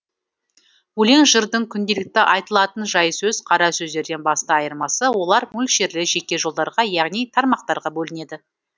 өлең жырдың күнделікті айтылатын жай сөз қара сөздерден басты айырмасы олар мөлшерлі жеке жолдарға яғни тармақтарға бөлінеді